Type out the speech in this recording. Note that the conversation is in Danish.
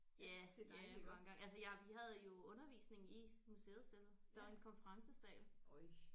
Ja ja mange gange ja altså jeg vi havde jo undervisning i museet selv der var en konferencesal